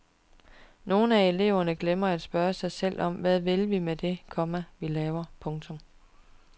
Nogle af eleverne glemmer at spørge sig selv hvad vi vil med det, komma vi laver. punktum